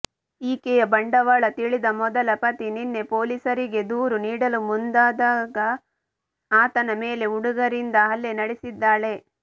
ಈಕೆಯ ಬಂಡವಾಳ ತಿಳಿದ ಮೊದಲ ಪತಿ ನಿನ್ನೆ ಪೊಲೀಸರಿಗೆ ದೂರು ನೀಡಲು ಮುಂದಾದಾಗ ಆತನ ಮೇಲೆ ಹುಡುಗರಿಂದ ಹಲ್ಲೆ ನಡೆಸಿದ್ದಾಳೆ